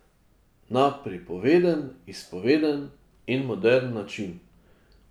Na pripoveden, izpoveden in moderen način.